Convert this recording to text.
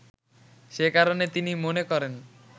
সে কারণে তিনি মনে করেন